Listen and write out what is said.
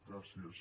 gràcies